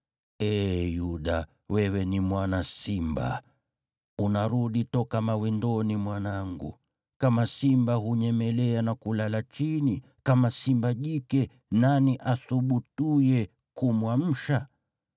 Ee Yuda, wewe ni mwana simba; unarudi toka mawindoni, mwanangu. Kama simba hunyemelea na kulala chini, kama simba jike: nani athubutuye kumwamsha?